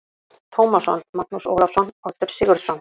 Tómasson, Magnús Ólafsson, Oddur Sigurðsson